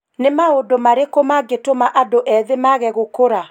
Nĩ maũndũ marĩakũ magitũma andũ ethĩ mage gukũra ?